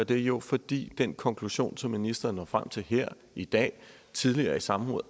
det jo fordi den konklusion som ministeren når frem til her i dag og tidligere i samråd